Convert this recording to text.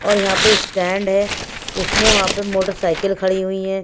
और यहाँ पे स्टैंड है उसमें वहाँ पर मोटरसाइकिल खड़ी हुई है।